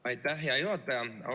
Aitäh, hea juhataja!